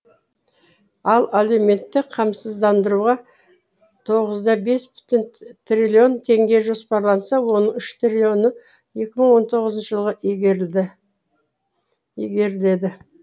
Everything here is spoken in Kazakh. ал әлеуметтік қамсыздандыруға тоғыз да бес бүтін триллион теңге жоспарланса оның үш триллионға екі мың он тоғызыншы жылға игеріледі